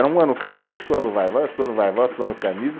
Era um ano Camisa, outro ano Vai-Vai, outro ano Vai-Vai, outro ano camisa.